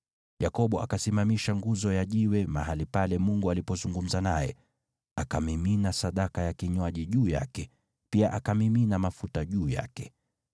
Yakobo akasimamisha nguzo ya jiwe mahali pale Mungu alipozungumza naye, akamimina sadaka ya kinywaji juu yake, pia akamimina mafuta juu yake.